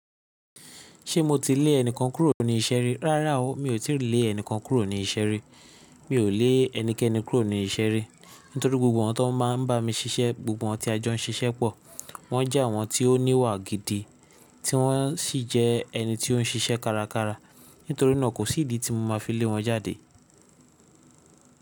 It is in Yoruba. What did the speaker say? Ṣé mo ti lè ẹnìkan kúrò ní iṣẹ́ rí? Rárá o, mi ò tí lè ẹnìkan kúrò ní iṣẹ́ rí. Mi ò lè ẹnikẹ́ni kúrò ní iṣẹ́ rí, nítorí gbogbo àwọn tí wọ́n máa ń bá mi ṣiṣẹ́, gbogbo àwọn tí a jọ ń ṣiṣẹ́ pọ̀, wọ́n jẹ́ àwọn tí ó níwà gidi, tí wọ́n sì jẹ́ ẹni tí ó ń ṣiṣẹ́ kárakára. Nítorí náà, kò sí ìdí tí mo máa fi lé wọn jáde.